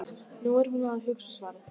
Nú er hún að hugsa svarið.